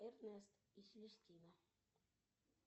эрнест и селестина